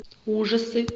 ужасы